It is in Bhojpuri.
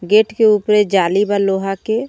गेट के ऊपर जाली बा लोहा के.